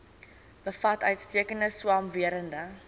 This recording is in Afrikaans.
bevat uitstekende swamwerende